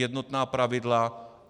Jednotná pravidla.